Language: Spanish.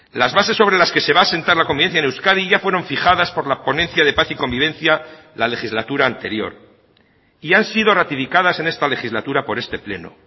las bases sobre las que se va a asentar la convivencia en euskadi ya fueron fijadas por la ponencia de paz y convivencia la legislatura anterior y han sido ratificadas en esta legislatura por este pleno